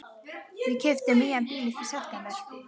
Við keyptum nýjan bíl í september.